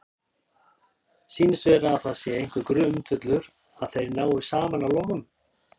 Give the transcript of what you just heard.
Sýnist vera að það sé einhver grundvöllur að þeir nái saman að lokum?